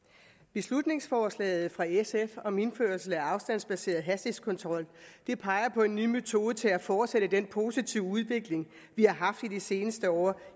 beslutningsforslaget fra sf om indførelse af afstandsbaseret hastighedskontrol peger på en ny metode til at fortsætte den positive udvikling vi har haft i de seneste år